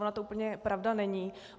Ona to úplně pravda není.